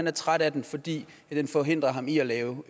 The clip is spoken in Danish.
er træt af den fordi den forhindrer ham i at lave